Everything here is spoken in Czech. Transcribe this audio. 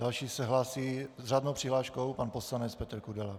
Další se hlásí s řádnou přihláškou pan poslanec Petr Kudela.